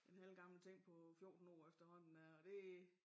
En halvgammel ting på 14 år efterhånden der og det